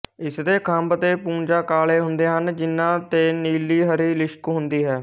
ਇਸਦੇ ਖੰਭ ਤੇ ਪੂੰਝਾ ਕਾਲ਼ੇ ਹੁੰਦੇ ਹਨ ਜਿਹਨਾਂ ਤੇ ਨੀਲੀਹਰੀ ਲਿਸ਼ਕ ਹੁੰਦੀ ਹੈ